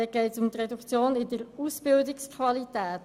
Dabei geht es um die Reduktion der Ausbildungsqualität.